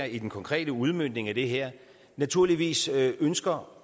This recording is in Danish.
i den konkrete udmøntning af det her naturligvis ønsker